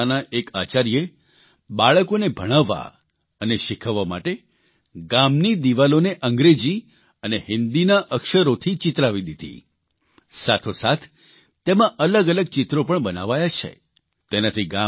અહીં માધ્યમિક શાળાના એક આચાર્યે બાળકોને ભણાવવા અને શીખવવા માટે ગામની દિવાલોને અંગ્રેજી અને હિંદીના અક્ષરોથી ચિતરાવી દીધી સાથોસાથ તેમાં અલગઅલગ ચિત્રો પણ બનાવાયા છે